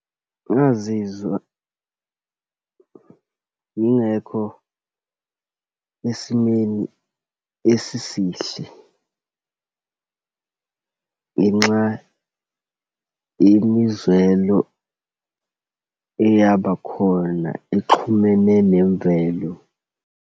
Ngazizwa ngingekho esimeni esisihle ngenxa yemizwelo eyabakhona exhumene nemvelo.